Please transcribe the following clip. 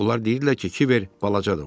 Onlar deyirdilər ki, Kiber balacadır.